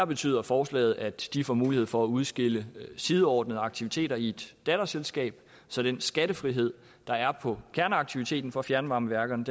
betyder forslaget at de får mulighed for at udskille sideordnede aktiviteter i et datterselskab så den skattefrihed der er på kerneaktiviteten for fjernvarmeværkerne